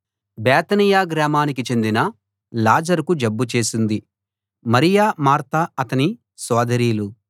బేతనియ గ్రామానికి చెందిన లాజరుకు జబ్బు చేసింది మరియ మార్త అతని సోదరీలు